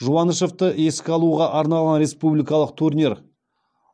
жуанышевты еске алуға арналған республикалық турнир